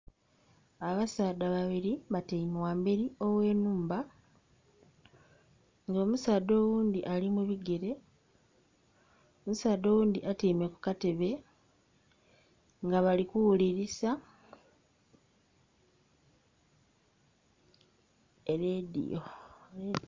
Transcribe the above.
Abasaadha babiri batiame ghamberi oghe nhumba. Omusaadha oghundi ali mubigere omusaadha oghundi atiame ku katebe nga bali kughulirisa e radiyo